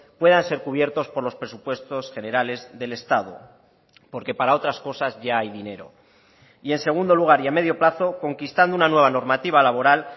puedan ser cubiertos por los presupuestos generales del estado porque para otras cosas ya hay dinero y en segundo lugar y a medio plazo conquistando una nueva normativa laboral